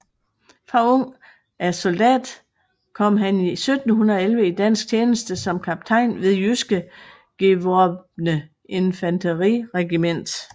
Fra ung af soldat kom han 1711 i dansk tjeneste som kaptajn ved jyske gevorbne Infanteriregiment